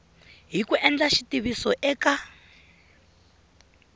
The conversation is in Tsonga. hi ku endla xitiviso eka